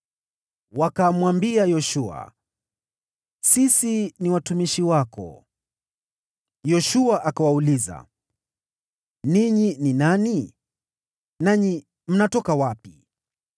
Wakamwambia Yoshua, “Sisi ni watumishi wako.” Yoshua akawauliza, “Ninyi ni nani, nanyi mnatoka wapi?”